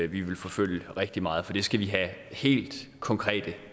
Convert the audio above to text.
vi vil forfølge rigtig meget for det skal vi have helt konkrete